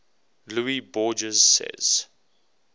luis borges says